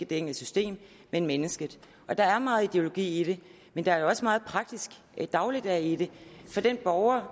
det enkelte system men mennesket der er meget ideologi i det men der er jo også meget praktisk dagligdag i det for den borger